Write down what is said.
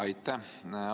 Aitäh!